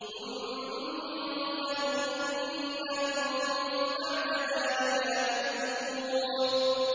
ثُمَّ إِنَّكُم بَعْدَ ذَٰلِكَ لَمَيِّتُونَ